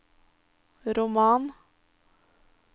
roman